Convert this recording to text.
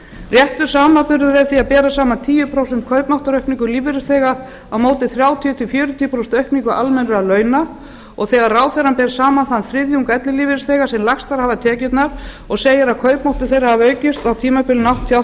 réttur samanburður er því að bera saman tíu prósent kaupmáttaraukningu lífeyrisþega á móti þrjátíu til fjörutíu prósent aukningu almennra launa þegar ráðherrann ber saman þann þriðjung ellilífeyrisþega sem lægstar hafa tekjurnar og segir að kaupmáttur þeirra hafi aukist um tuttugu og eitt prósent á tímabilinu nítján hundruð áttatíu og